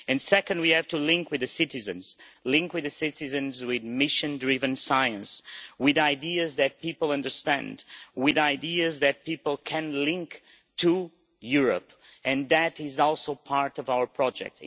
Secondly, we have to link with the citizens link with the citizens with mission driven science, with ideas that people understand, with ideas that people can link to Europe, and that is also part of our project.